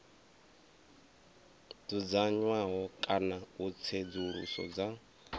dzudzanywaho kana u tsedzuluso dza